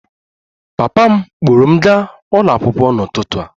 Papa m kpọọrọ m gaa ụlọ akwụkwọ n'ụtụtụ a